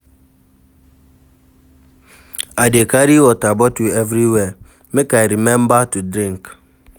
I dey carry water bottle everywhere, make I rememba to drink.